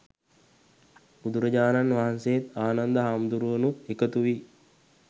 බුදුරජාණන් වහන්සේත්, ආනන්ද හාමුදුරුවනුත් එකතු වී